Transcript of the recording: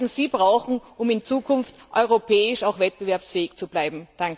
Wir werden sie brauchen, um in Zukunft europäisch wettbewerbsfähig zu bleiben.